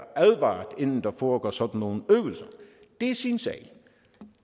advaret om inden der foregår sådan nogle øvelser det er sin sag